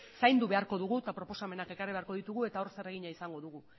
zaindu beharko dugu eta proposamenak ekarri beharko ditugu eta hor zeregina izango dugu